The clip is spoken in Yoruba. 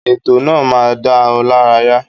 Ètò náà máa dá ọ lárayá.